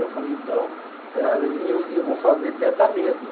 Aí eu falei, então, eh eu eu vou fazer perto da mesa.